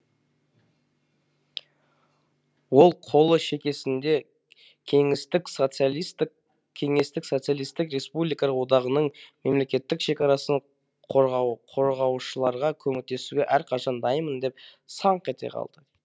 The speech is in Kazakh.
оң қолы шекесінде кеңестік социалистік республикалар одағының мемлекеттік шекарасын қорғаушыларға көмектесуге әрқашан дайынмын деп саңқ ете калды